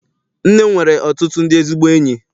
Nne m nwere ọtụtụ ndị ezigbo enyi.